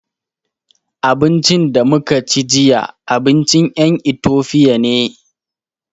Abincin da muka ci jiya, abincin ƴan Itofiya ne.